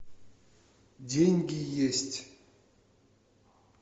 деньги есть